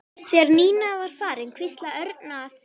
Þegar Nína var farin hvíslaði Örn að